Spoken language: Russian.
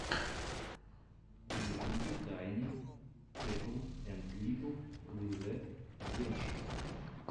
в ютюбе тайни тетл энд литл лизэд адвенчез